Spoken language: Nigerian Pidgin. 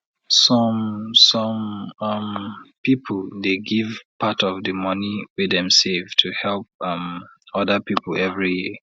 some some um piple dey give part of di money wey dem save to help um oda piple every year